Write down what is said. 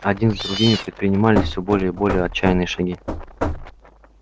один за другим предпринимались все более и более отчаянные шаги